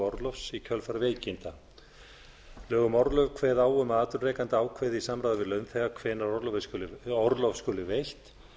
orlofs í kjölfar veikinda lög um orlof kveða á um að at atvinnurekandi ákveði í samráði við launþega hvenær orlof skuli veitt